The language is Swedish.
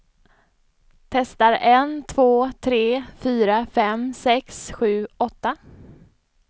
Testar en två tre fyra fem sex sju åtta.